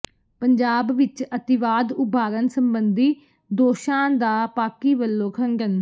ਪੰਜਾਬ ਵਿੱਚ ਅਤਿਵਾਦ ਉਭਾਰਨ ਸਬੰਧੀ ਦੋਸ਼ਾਂ ਦਾ ਪਾਕਿ ਵੱਲੋਂ ਖੰਡਨ